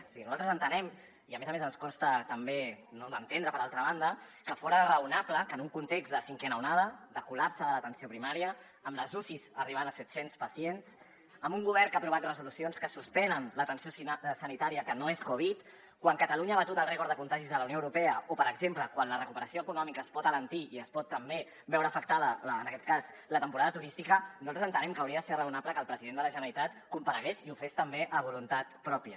o sigui nosaltres entenem i a més a més ens costa també no d’entendre per altra banda que fora raonable que en un context de cinquena onada de col·lapse de l’atenció primària amb les ucis arribant a setcents pacients amb un govern que ha aprovat resolucions que suspenen l’atenció sanitària que no és covid quan catalunya ha batut el rècord de contagis a la unió europea o per exemple quan la recuperació econòmica es pot alentir i es pot també veure afectada en aquest cas la temporada turística nosaltres entenem que hauria de ser raonable que el president de la generalitat comparegués i ho fes també a voluntat pròpia